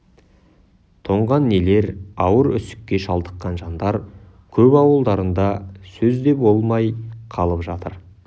тоңған нелер ауыр үсікке шалдыққан жандар көп ауылдарында сөз де бол май қалып жатыр